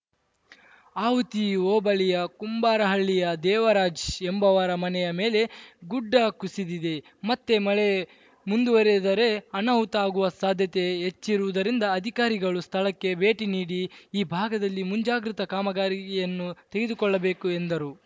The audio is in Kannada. ಆವುತಿ ಹೋಬಳಿಯ ಕುಂಬಾರಹಳ್ಳಿಯ ದೇವರಾಜ್‌ ಎಂಬುವವರ ಮನೆಯ ಮೇಲೆ ಗುಡ್ಡ ಕುಸಿದಿದೆ ಮತ್ತೆ ಮಳೆ ಮುಂದುವರೆದರೆ ಅನಾಹುತ ಆಗುವ ಸಾಧ್ಯತೆ ಹೆಚ್ಚಿರುವುದರಿಂದ ಅಧಿಕಾರಿಗಳು ಸ್ಥಳಕ್ಕೆ ಭೇಟಿ ನೀಡಿ ಈ ಭಾಗದಲ್ಲಿ ಮುಂಜಾಗ್ರತಾ ಕಾಮಗಾರಿಯನ್ನು ತೆಗೆದುಕೊಳ್ಳಬೇಕು ಎಂದರು